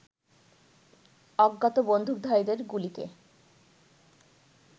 অজ্ঞাত বন্দুকধারীদের গুলিতে